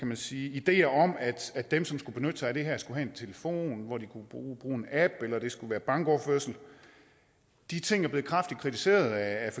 man sige ideer om at dem som skulle benytte sig af det her skulle have en telefon hvor de kunne bruge en app eller at det skulle bankoverførsel de ting er blevet kraftigt kritiseret af